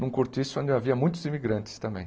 Num cortiço ainda havia muitos imigrantes também.